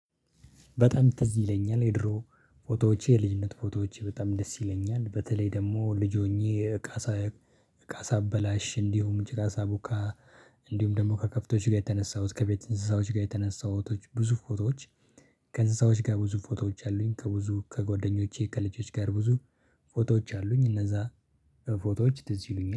በጣም ትዝ ይለኛል የድሮ ፎቶዎቼ የልጅነት ፎቶዎቼ በጣም ደስ ይለኛል በተለይ ደግሞ ልጅ ሆኜ እቃ እቃ ሳበላሽ እንዲሁም ጭቃ ሳቦካ። እንዲሁም ደግሞ ከከብቶች ጋር የተነሳሁት ከቤት እንስሳዎች ጋር የተነሳሁት ብዙ ፎቶዎች። ከእንስሳዎች ጋር ብዙ ፎቶዎች አሉኝ። ከብዙ ከጓደኞቼ ከልጆች ጋር ብዙ ፎቶዎች አሉኝ። እነዛ ፎቶዎች ትዝ ይሉኛል